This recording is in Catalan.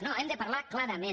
no hem de parlar clarament